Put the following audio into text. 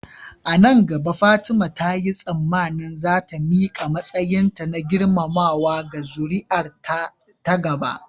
A nan gaba Fatima ta yi tsammanin za ta miƙa matsayinta na girmamawa ga zuri'ar ta gaba.